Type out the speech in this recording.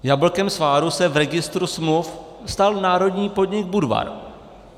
Jablkem sváru se v registru smluv stal národní podnik Budvar.